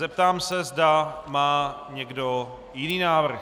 Zeptám se, zda má někdo jiný návrh.